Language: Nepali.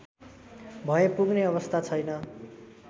भए पुग्ने अवस्था छैन